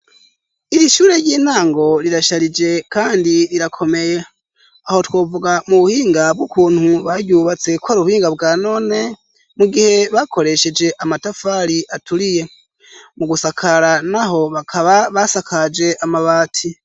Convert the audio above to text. Iri shure ry'intango rirasharije kandi rirakomeye, aho twovuga mu buhinga bw'ukuntu baryubatse kwari ubuhinga bwa none mu gihe bakoresheje amatafari aturiye, mugusakara naho bakaba basakaje amabati.